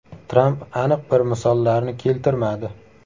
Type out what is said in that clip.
Tramp aniq bir misollarni keltirmadi.